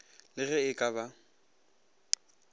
le ge e ka ba